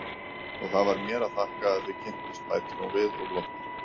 Og það var mér að þakka að þið kynntust, bætir hún við og glottir.